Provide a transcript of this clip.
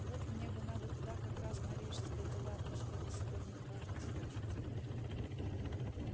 вот мне бы надо туда как раз на рижской дела да что-то сегодня неважно себя чувствую